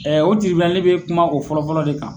Ɛ o bɛ kuma o fɔlɔ fɔlɔ de kan.